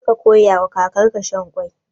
Kar ka koyawa kakarka shan ƙwai.